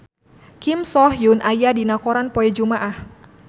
Kim So Hyun aya dina koran poe Jumaah